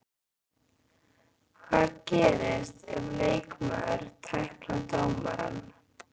Hvað gerist ef leikmaður tæklar dómarann?